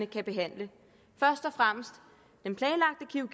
kan behandle først og fremmest